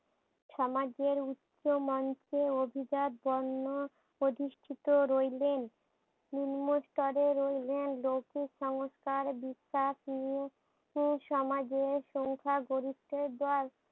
সমাজের উচ্চ মঞ্চে অভিজাত বর্ণ অধিষ্টিত রইলেন। নিম্ন স্তরে রইলেন লৌখিক সংস্কার বিশ্বাস ইয়ো সমাজের সংখ্যা গরিত্বে জয়।